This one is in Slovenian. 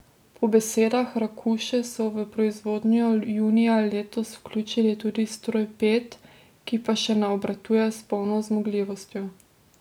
Po besedah Rakuše so v proizvodnjo junija letos vključili tudi stroj pet, ki pa še ne obratuje s polno zmogljivostjo.